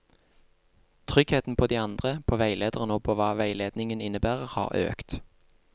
Tryggheten på de andre, på veilederen og på hva veiledningen innebærer, har økt.